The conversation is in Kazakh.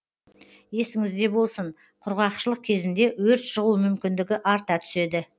есіңізде болсын құрғақшылық кезінде өрт шығу мүмкіндігі арта түседі